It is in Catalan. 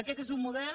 aquest és un model